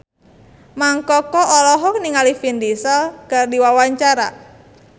Mang Koko olohok ningali Vin Diesel keur diwawancara